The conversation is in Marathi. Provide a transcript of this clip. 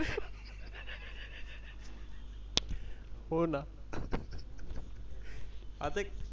हो ना .